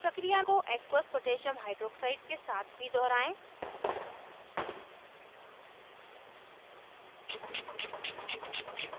प्रक्रिया को aqueous potassium hydroxide aq koh के साथ भी दोहराएं